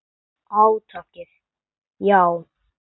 Átakið, já.